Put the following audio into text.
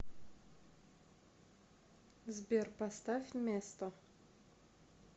сбер поставь место